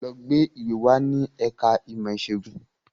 Lọ gba ìwé wá ní ẹ̀ka ìmọ̀ ìṣègùn!